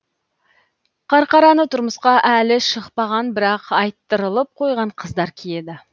қарқараны тұрмысқа әлі шықпаған бірақ айттырылып қойған қыздар киеді